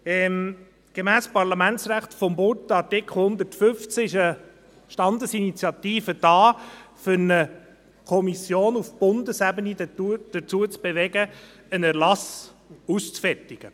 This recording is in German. – Gemäss dem Bundesgesetz über die Bundesversammlung (Parlamentsgesetz, ParlG) Artikel 115 ist eine Standesinitiative dazu da, um eine Kommission auf Bundesebene dazu zu bewegen, einen Erlass auszuarbeiten.